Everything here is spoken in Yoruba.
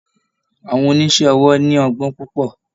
Àwọn oníṣe owó ní ogbón púpò.